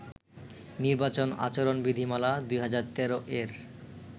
নির্বাচন আচরণবিধিমালা-২০১৩ এর